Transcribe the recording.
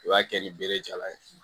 I b'a kɛ ni bere jalan ye